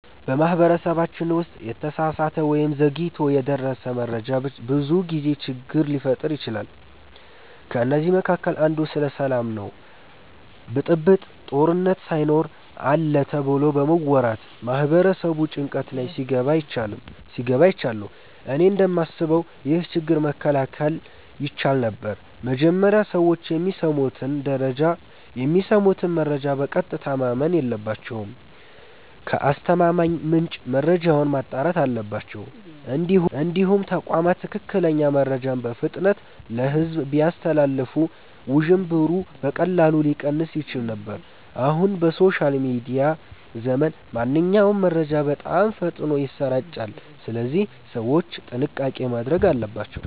በማህበረሰባችን ውስጥ የተሳሳተ ወይም ዘግይቶ የደረሰ መረጃ ብዙ ጊዜ ችግር ሲፈጥር አይቻለሁ። ከእነዚህ መካከል አንዱ ስለ ሰላም ነው ብጥብጥ፣ ጦርነት ሳይኖር አለ ተብሎ በመወራት ማህበረሰቡ ጭንቀት ላይ ሲገባ አይቻለሁ። እኔ እንደማስበው ይህ ችግር መከላከል ይቻል ነበር። መጀመሪያ ሰዎች የሚሰሙትን መረጃ በቀጥታ ማመን የለባቸውም። ከአስተማማኝ ምንጭ መረጃውን ማጣራት አለባቸው። እንዲሁም ተቋማት ትክክለኛ መረጃን በፍጥነት ለሕዝብ ቢያስተላልፉ ውዥንብሩ በቀላሉ ሊቀንስ ይችል ነበር። አሁን በሶሻል ሚዲያ ዘመን ማንኛውም መረጃ በጣም ፈጥኖ ይሰራጫል፣ ስለዚህ ሰዎች ጥንቃቄ ማድረግ አለባቸው።